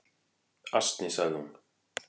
"""Asni, sagði hún."""